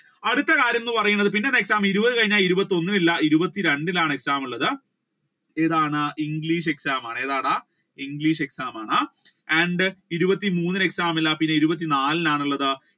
അടുത്ത കാര്യം എന്ന് പറയുന്നത് ഇരുപത് കഴിഞ്ഞാൽ ഇരുപത്തി ഒന്നില്ല ഇരുപത്തി രണ്ടിനാണ് exam ഉള്ളത് ഏതാണ് ഇംഗ്ലീഷ് exam ആണ് ഇംഗ്ലീഷ് exam ആണ് and ഇരുപത്തി മൂന്നിന് exam ഇല്ല ഇരുപത്തി നാലിനാണ് ഉള്ളത്